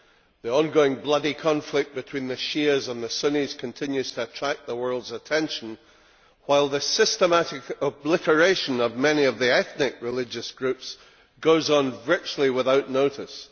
The ongoing bloody conflict between the Shias and the Sunnis continues to attract the world's attention while the systematic obliteration of many of the ethnic religious groups goes on virtually without being noticed.